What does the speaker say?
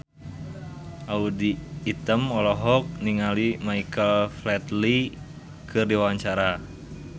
Audy Item olohok ningali Michael Flatley keur diwawancara